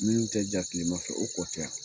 Minnu tɛ ja kilema fɛ, o kɔ tɛ yan.